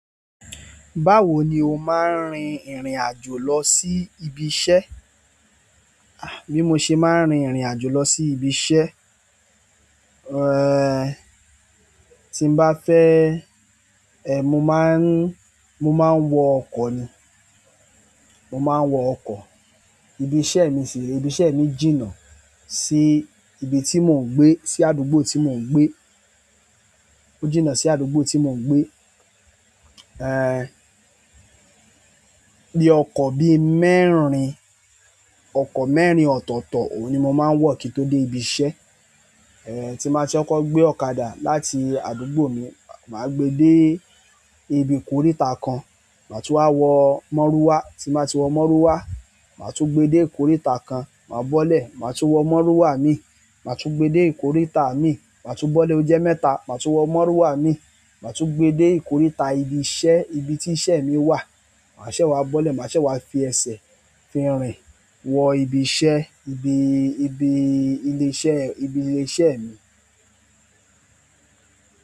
Báwo ni o máa ń rin ìrìn àjò lọ sí ibi iṣẹ́? Bí mo ṣe máa ń rin ìrìn àjò lọ sí ibi iṣẹ́, tí n bá fẹ́, mo máa ń, mo máa ń wọ ọkọ̀ ni. Mo máa ń wọ ọkọ̀. Ibi iṣẹ́ mi sì re, ibi iṣẹ́ mi jìnnà sí ibi tí mò ń gbé, sí àdúgbò tí mò ń gbé. Ó jìnnà sí àdúgbò tí mò ń gbé. Bí ọkọ̀ bí mẹ́rin, ọkọ̀ mẹ́rin ọ̀tọ̀ọ̀tọ̀, òun ni mo máa ń wọ̀ kí n tó dé ibi iṣẹ́. Tí n ba ri kọkọ gbé ọ̀kadà láti àdúgbò mi, màá gbe dé ibi ìkóríta kan, màá tún wá wọ mọ́rúà. Tí màá ti wọ mọ́rúà, màá tún gbe dé ìkóríta kan, màá bọ́lẹ̀, màá tún wọ mọ́rúà mi, màá tún gbe dé ìkóríta mi, màá tún bọ́lẹ̀ ojẹ́ mẹ́ta, màá tún wọ mọ́rúà mi, màá tún gbe dé ìkóríta ibi iṣẹ́, ibi tí iṣẹ́ mi wà. Màá ṣè wá bọ́lẹ̀, màá ṣè wá fi ẹsẹ̀ fi rin wọ ibi iṣẹ́, ibi, ibi ilé iṣẹ́, ibi ilé iṣẹ́ mi.